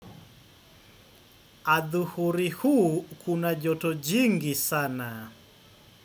Adhuhuri huu kuna joto jingi sana.